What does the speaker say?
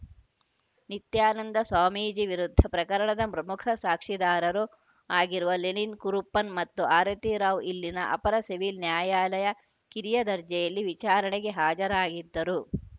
ನಿತ್ಯಾನಂದ ಸ್ವಾಮೀಜಿ ವಿರುದ್ಧ ಪ್ರಕರಣದ ಪ್ರಮುಖ ಸಾಕ್ಷಿದಾರರು ಆಗಿರುವ ಲೆನಿನ್‌ ಕುರುಪ್ಪನ್‌ ಮತ್ತು ಆರತಿರಾವ್‌ ಇಲ್ಲಿನ ಅಪರ ಸಿವಿಲ್‌ ನ್ಯಾಯಾಲಯ ಕಿರಿಯ ದರ್ಜೆಯಲ್ಲಿ ವಿಚಾರಣೆಗೆ ಹಾಜರಾಗಿದ್ದರು